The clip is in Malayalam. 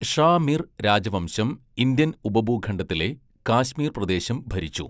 ഷാ മിർ രാജവംശം ഇന്ത്യൻ ഉപഭൂഖണ്ഡത്തിലെ കാശ്മീർ പ്രദേശം ഭരിച്ചു.